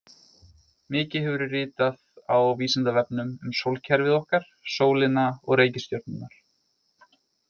Mikið hefur verið ritað á Vísindavefnum um sólkerfið okkar, sólina og reikistjörnurnar.